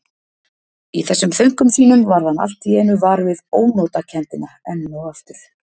Í þessum þönkum sínum varð hann allt í einu var við ónotakenndina enn og aftur.